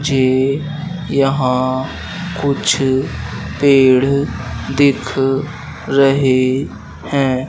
ये यहां कुछ पेड़ दिख रही है।